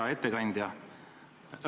Hea ettekandja!